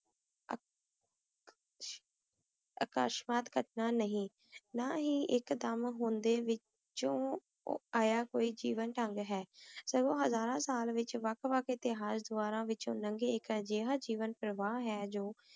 ਅਕਾਸ਼੍ਤ੍ਵਤ ਘਟਨਾ ਨਹੀ ਨਾ ਹੀ ਏਇਕ ਦਮ ਹੁੰਦੇ ਓਨ੍ਡੇ ਵਿਚੋਂ ਆਯਾ ਕੋਈ ਜਿਵੇਂ ਢੰਗ ਹੈ ਹਜ਼ਾਰਾਂ ਸਾਲ ਵਿਚ ਏਤਿਹਾਸ ਦਾਵਾਰਨ ਵਿਚੋਂ ਲੰਗੇ ਜੇਵਾਂ ਦਾ ਪ੍ਰਵਾਹ ਹੈ ਜੋ